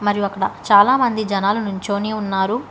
మరియు అక్కడ చాలామంది జనాలు నించొని ఉన్నారు.